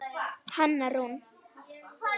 Hanna Rún.